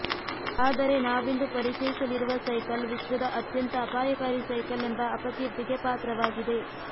ಆದರೆ ನಾವಿಂದು ಪರಿಚಯಿಸಲಿರುವ ಸೈಕಲ್ ವಿಶ್ವದ ಅತ್ಯಂತ ಅಪಾಯಕಾರಿ ಸೈಕಲ್ ಎಂಬ ಅಪಕೀರ್ತಿಗೆ ಪಾತ್ರವಾಗಿದೆ